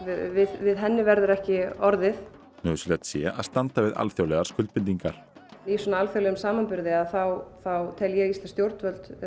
við henni verður ekki orðið nauðsynlegt sé að standa við alþjóðlegar skuldbindingar í alþjóðlegum samanburði þá þá tel ég íslensk stjórnvöld